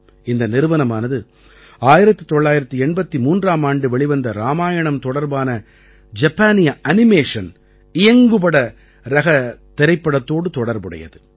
இந்த நிறுவனமானது 1983ஆம் ஆண்டு வெளிவந்த ராமாயணம் தொடர்பான ஜப்பானிய அனிமேஷன் இயங்குபட ரகத் திரைப்படத்தோடு தொடர்புடையது